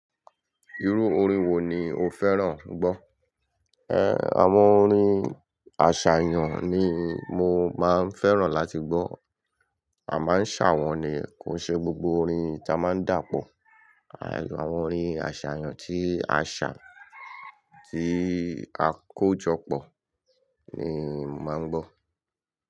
Irú orin wo ni o fẹ́ràn gbọ́? Ẹ́, àwọn orin àṣàyàn ni mo máa ń fẹ́ràn láti gbọ́. A máa ń ṣàwọn ni. Kò ṣe gbogbo orin ta máa ń dàpọ̀. Àìlò àwọn orin àṣàyàn tí a ṣà, tí a kó jọ pọ̀ ni màá ń gbọ́